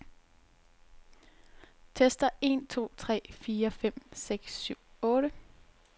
Tester en to tre fire fem seks syv otte.